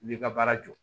I b'i ka baara jɔ